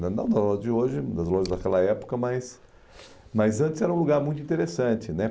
Não das lojas de hoje, das lojas daquela época, mas mas antes era um lugar muito interessante, né?